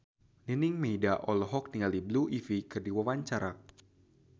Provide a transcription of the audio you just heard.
Nining Meida olohok ningali Blue Ivy keur diwawancara